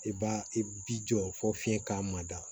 I b'a i bi jɔ fɔ fiɲɛ k'a mada